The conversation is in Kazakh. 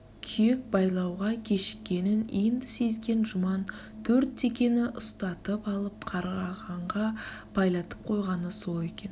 күйек байлауға кешіккенін енді сезген жұман төрт текені үстатып алып қарағанға байлатып қойғаны сол екен